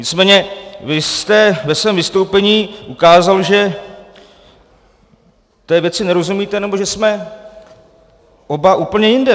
Nicméně vy jste ve svém vystoupení ukázal, že té věci nerozumíte, nebo že jsme oba úplně jinde.